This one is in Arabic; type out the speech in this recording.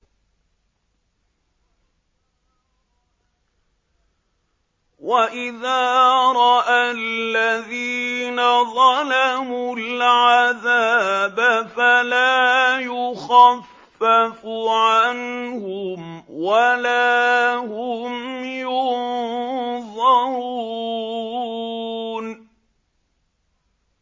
وَإِذَا رَأَى الَّذِينَ ظَلَمُوا الْعَذَابَ فَلَا يُخَفَّفُ عَنْهُمْ وَلَا هُمْ يُنظَرُونَ